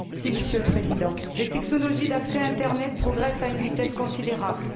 Monsieur le Président, les technologies d'accès à Internet progressent à une vitesse considérable.